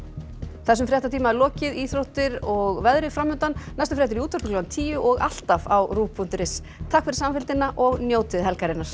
þessum fréttatíma er lokið íþróttir og veðrið næstu fréttir í útvarpi klukkan tíu og alltaf á ruv punktur is takk fyrir samfylgdina og njótið helgarinnar